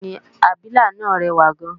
bẹ́ẹ̀ni, abilà náà rẹwà gan